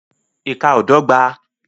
Ìkà ó dọ́gba